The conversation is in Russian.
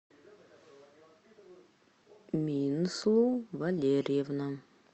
минслу валерьевна